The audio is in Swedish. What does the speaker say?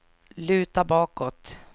luta bakåt